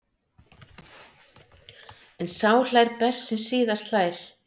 En sá hlær best sem síðast hlær.